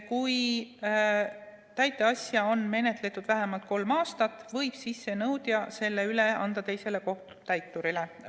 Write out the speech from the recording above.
Kui täiteasja on menetletud vähemalt kolm aastat, võib sissenõudja selle üle anda teisele kohtutäiturile.